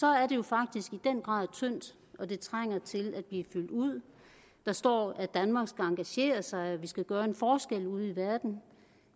er det jo faktisk i den grad tyndt og det trænger til at blive fyldt ud der står at danmark skal engagere sig og at vi skal gøre en forskel ude i verden